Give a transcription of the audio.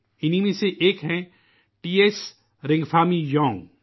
ان میں سے ایک ہیں ، ٹی ایس رِنگپھامی یونگ